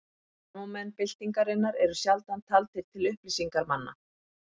Framámenn byltingarinnar eru sjaldan taldir til upplýsingarmanna.